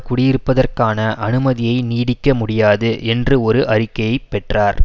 குடியிருப்பதற்கான அனுமதியை நீடிக்க முடியாது என்று ஒரு அறிக்கையை பெற்றார்